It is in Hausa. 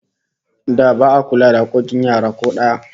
Da ba'a kula da hakkokin yara ko daya